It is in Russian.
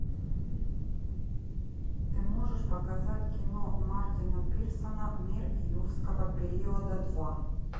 ты можешь показать кино мартина пирсона мир юрского периода два